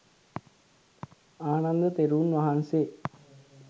ආනන්ද තෙරුන් වහන්සේ.